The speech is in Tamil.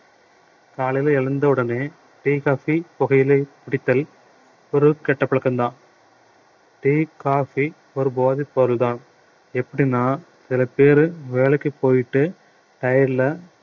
காலையில எழுந்தவுடனே tea coffee புகையிலை பிடித்தல் ஒரு கெட்ட பழக்கம்தான் tea coffee ஒரு போதைப் பொருள்தான் எப்படின்னா சில பேரு வேலைக்கு போயிட்டு tired ல